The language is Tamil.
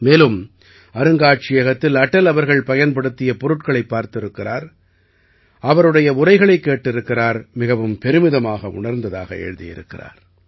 மேலும் அருங்காட்சியகத்தில் அடல் அவர்கள் பயன்படுத்திய பொருட்களைப் பார்த்திருக்கிறார் அவருடைய உரைகளைக் கேட்டிருக்கிறார் மிகவும் பெருமிதமாக உணர்ந்ததாக எழுதியிருக்கிறார்